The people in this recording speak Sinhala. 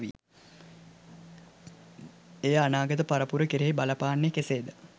එය අනාගත පරපුර කෙරෙහි බලපාන්නේ කෙසේද